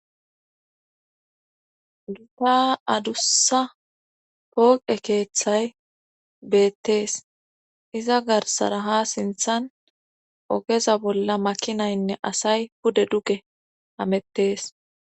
Gita adussa pooqe keeththay beettees iza garsara ha sinthan ogeza bolla makinaynne asay pude duge amettees